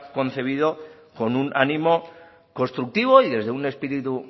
concebido con un ánimo constructivo y desde un espíritu